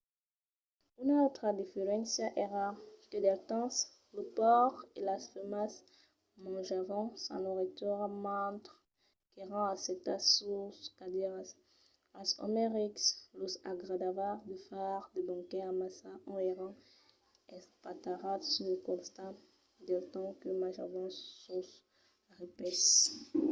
una autra diferéncia èra que del temps los paures e las femnas manjavan sa noiritura mentre qu’èran assetats sus de cadièras als òmes rics lor agradava de far de banquets amassa ont èran espatarrats sul costat del temps que manjavan sos repaisses